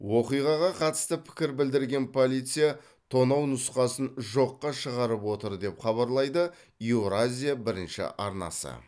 оқиғаға қатысты пікір білдірген полиция тонау нұсқасын жоққа шығарып отыр деп хабарлайды еуразия бірінші арнасы